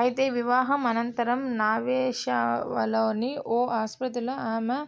అయితే వివాహం అనంతరం నావాశేవాలోని ఓ ఆసుపత్రిలో ఆమె